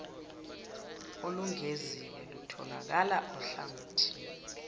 olungeziwe lutholakala ohlangothini